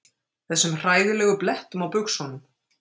Þessum hræðilegu blettum á buxunum.